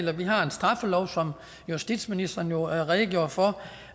har vi har en straffelov som justitsministeren jo redegjorde for